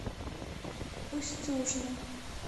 устюжна